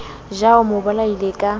ja o mo bolaisa ka